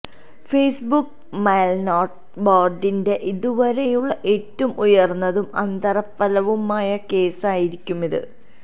Facebook മേല്നോട്ട ബോര്ഡിന്റെ ഇതുവരെയുള്ള ഏറ്റവും ഉയര്ന്നതും അനന്തരഫലവുമായ കേസായിരിക്കും ഇത്